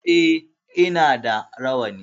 E, ina da rawani.